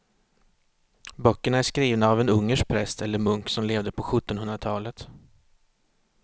Böckerna är skrivna av en ungersk präst eller munk som levde på sjuttonhundratalet.